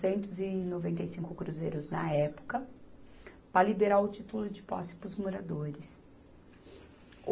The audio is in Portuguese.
centos e noventa e cinco cruzeiros na época, para liberar o título de posse para os moradores.